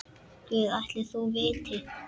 Guð ætli þau viti.